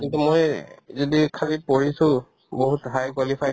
কিন্তু মই যদি খালী পঢ়িছো বহুত high qualified